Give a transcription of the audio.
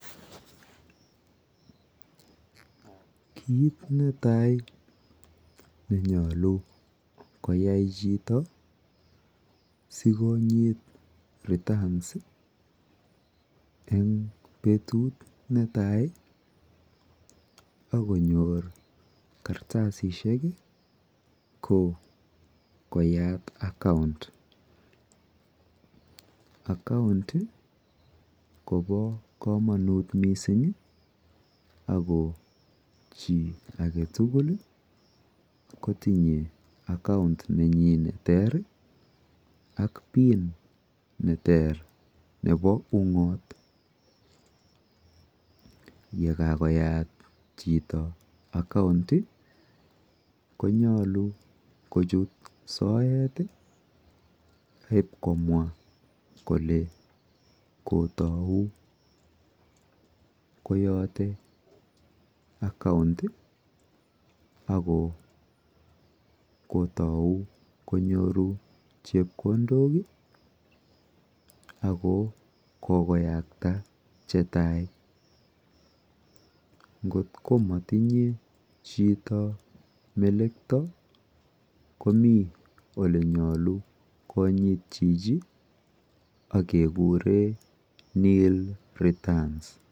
Kiit ne tai ne nyalu koyai chito si konyit returns eng' petut ne tai ak konyor kartasishek ko koyat (c)account. Account ko pa kamanut missing' ako chi age tugul ko tinye account nenyi ne ter ak PIN ne ter nepo ung'ot. Ye kakoyat chito account ko nyalu kochut soet ak ip komwa kole kotau koyate account akl kotau konyoru chepkondok ako kokoyakta che tai. Ngot ko matinye chi melekta komi ole nyalu konyitchi ak kekure nill returns.